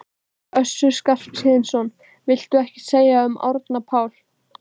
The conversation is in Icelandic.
Össur Skarphéðinsson: Viltu ekkert segja um Árna Pál?